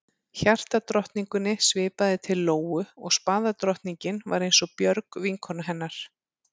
Hjartadrottningunni svipaði til Lóu og spaðadrottningin var eins og Björg, vinkona hennar.